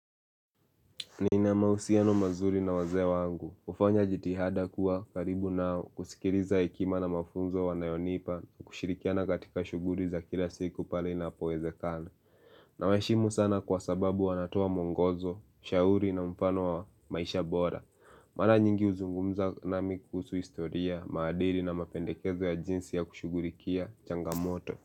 Niina mausiano mazuri na waze wangu, ufanya jitihada kuwa karibu nao, kusikiriza ekima na mafunzo wanayonipa, kushirikiana katika shuguri za kila siku pali na poezekana na waishimu sana kwa sababu wanatoa mwongozo, shauri na mpano wa maisha bora Mala nyingi uzungumza nami kuhusu historia, madiri na mapendekezo ya jinsi ya kushugurikia, changamoto.